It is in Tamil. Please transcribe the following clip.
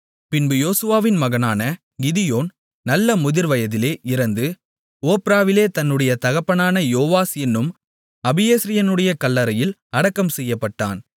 பின்பு யோவாசின் மகனான கிதியோன் நல்ல முதிர்வயதிலே இறந்து ஒப்ராவிலே தன்னுடைய தகப்பனான யோவாஸ் என்னும் அபியேஸ்ரியனுடைய கல்லறையில் அடக்கம் செய்யப்பட்டான்